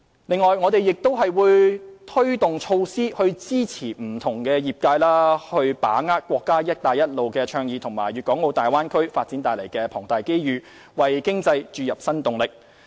此外，我們亦會推動措施支持不同業界把握國家"一帶一路"倡議和粵港澳大灣區發展帶來的龐大機遇，為經濟注入新動力。